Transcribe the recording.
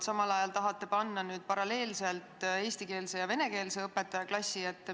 Samal ajal tahate nüüd panna paralleelselt eestikeelse ja venekeelse õpetaja klassi ette.